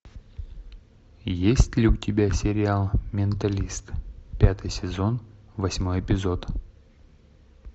есть ли у тебя сериал менталист пятый сезон восьмой эпизод